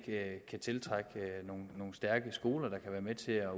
kan tiltrække nogle stærke skoler der kan være med til at